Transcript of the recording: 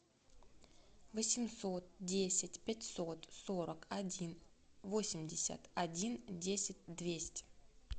восемьсот десять пятьсот сорок один восемьдесят один десять двести